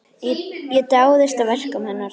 Ég dáðist að verkum hennar.